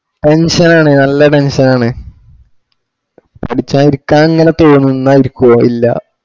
tension ആണ് നല്ല tension ആണ പഠിച്ചാ ഇരിക്കാൻ ഇങ്ങനെ തോന്നുന്ന ഇരിക്കോ ഇല്ല